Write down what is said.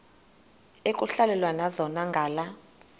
ekuhhalelwana zona ngala